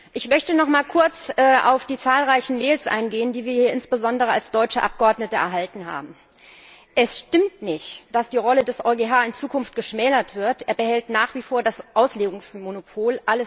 Ich möchte noch einmal kurz auf die zahlreichen E Mails eingehen, die wir hier insbesondere als deutsche Abgeordnete erhalten haben. Es stimmt nicht, dass die Rolle des EuGH in Zukunft geschmälert wird, er behält nach wie vor das Auslegungsmonopol.